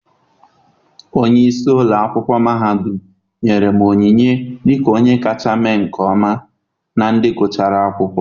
Onye isi ụlọ akwụkwọ mahadum ahụ nyere me onyinye dịka onye kacha mee nke ọma na ndị gụchara akwụkwọ.